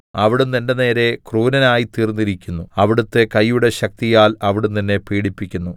അവിടുന്ന് എന്റെ നേരെ ക്രൂരനായിത്തീർന്നിരിക്കുന്നു അവിടുത്തെ കയ്യുടെ ശക്തിയാൽ അവിടുന്ന് എന്നെ പീഡിപ്പിക്കുന്നു